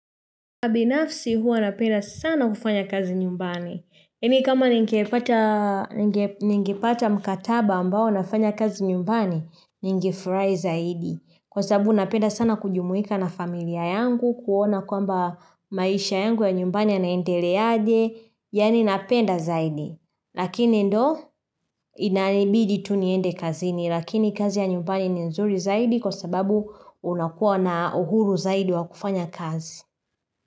Kwa binafsi huwa napenda sana kufanya kazi nyumbani. Mimi kama ningepata mkataba ambao nafanya kazi nyumbani, ningefurahia zaidi. Kwa sababu napenda sana kujumuika na familia yangu, kuona kwamba maisha yangu ya nyumbani anaendele aje, yaani napenda zaidi. Lakini ndo, inanibidi tu niende kazini, lakini kazi ya nyumbani ni nzuri zaidi kwa sababu unakuwa na uhuru zaidi wa kufanya kazi.